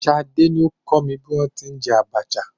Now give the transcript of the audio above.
Ṣadé ni ó kọ́ mi bí wọn ti ń jẹ Abacha.